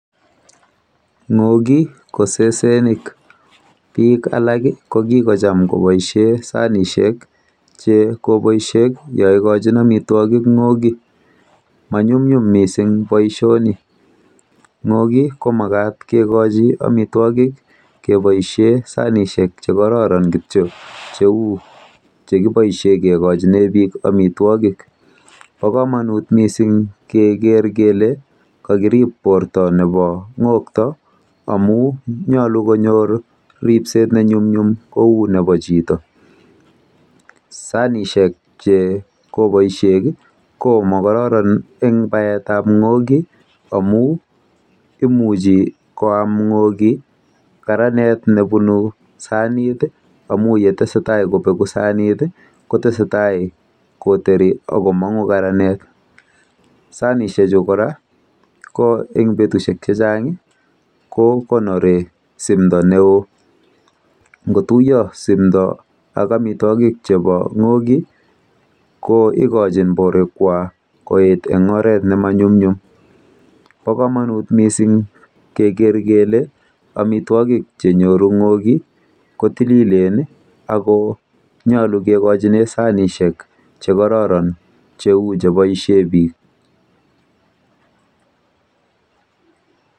Ng'ooki ko sesenik. Bik alak kochome koboisie sanisiek che koboishek yaikochin omitwogik Ng'ogik. Manyumnyum mising boisioni. Ng'oki komakat kekochi omitwogik keboisie sanisiek chekororon kityo cheu chekiboisie kekochine biik amitwogik. Bo komonut mising keker kele kakirib borto nebo ng'okto komie ako nyolu konyor ripset nenyumnyum neu nebo chito